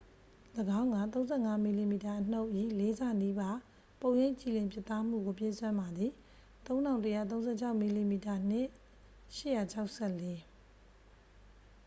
၎င်းက ၃၅ mm အနုတ်၏ လေးဆနီးပါး ပုံရိပ်ကြည်လင်ပြတ်သားမှုကို ပေးစွမ်းပါသည် ၃၁၃၆ mm၂ နှင့် ၈၆၄။